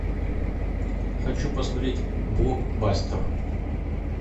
хочу посмотреть блокбастер